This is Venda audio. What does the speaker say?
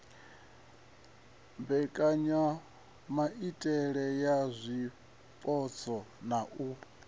mbekanyamaitele ya zwipotso na u